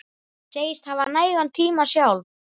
Segist hafa nægan tíma sjálf.